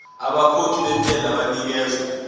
abakhokhi bentela banikezwa